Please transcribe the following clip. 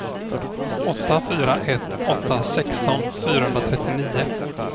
åtta fyra ett åtta sexton fyrahundratrettionio